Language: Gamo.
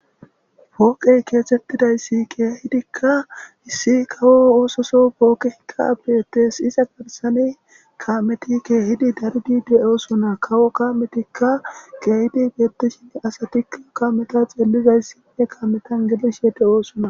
Pooqey keexxetidayssi keehidika issi kawo ooththoso pooqeyka beetes iza bessani kaameti keehidi daridi doosona kawo kaametika beetosona asatika kaameta xeellishe dizayssi kaameta be7ishe doosona.